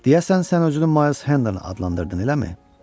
Deyəsən sən özünü Miles Hendon adlandırdın, eləmi?